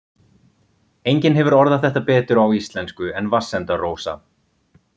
Enginn hefur orðað þetta betur á íslensku en Vatnsenda-Rósa